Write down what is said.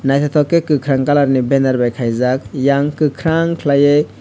naitotok ke kakorang colour ni benner bai kaijak eyang kokarang kelai ye.